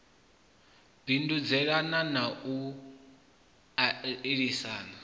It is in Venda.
bindudzelana na u a isana